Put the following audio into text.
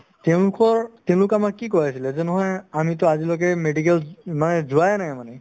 তেওঁলোকৰ তেওঁলোকে আমাক কি কই আছিলে যে নহয় আমিতো আজিলৈকে medical মানে যোৱায়ে নাই মানে